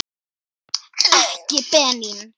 Ekki Benín.